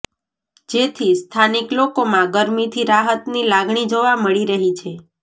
જેથી સ્થાનિક લોકોમાં ગરમીથી રાહતની લાગણી જોવા મળી રહી છે